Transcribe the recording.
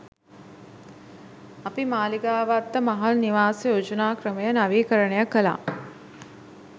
අපි මාළිගාවත්ත මහල් නිවාස යෝජනා ක්‍රමය නවීකරණය කළා.